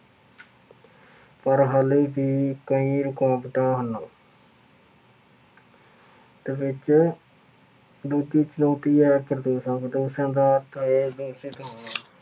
ਪਰ ਹਾਲੇ ਵੀ ਕਈ ਰੁਕਾਵਟਾਂ ਹਨ। ਅਤੇ ਵਿੱਚ ਆਇਆਂ ਕਰਦੇ ਸਨ ਦਾ ਅਰਥ ਇਹ ਹੈ ਕਿ